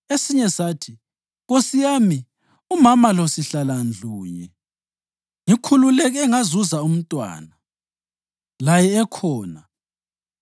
Esinye sathi, “Nkosi yami, umama lo sihlala ndlunye. Ngikhululeke ngazuza umntwana laye ekhona.